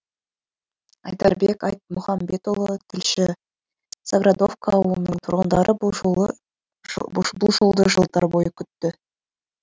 айдарбек айтмұхамбетұлы тілші заградовка ауылының тұрғындары бұл жолды жылдар бойы күтті